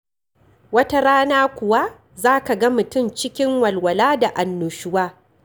Wata rana kuwa za ka ga mutum cikin walwala da annushuwa.